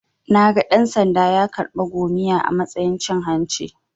Naga dan-sanda ya karɓa 'gomiya' a matsayin cin hanci.